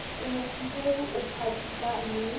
o mofubedu o phatsimang le